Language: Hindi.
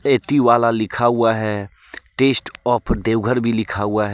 एतिवाला लिखा हुआ है टेस्ट ऑफ देवघर भी लिखा हुआ है।